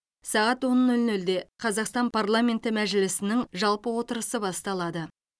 сағат он нөл нөлде қазақстан парламенті мәжілісінің жалпы отырысы басталады